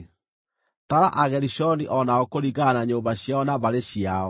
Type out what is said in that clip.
“Tara Agerishoni o nao kũringana na nyũmba ciao na mbarĩ ciao.